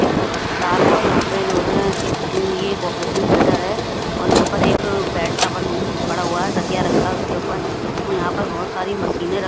एक अस्पताल है और यहां पे जो है ये एक ऑपरेशन थियेटर है और यहां पे एक बेड सा बना पड़ा तकिया रखा है उसके ऊपर यहां पे बहोत सारी मशीनें --